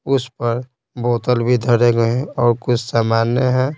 उस पर बोतल भी धरे गए हैं और कुछ सामान्य हैं।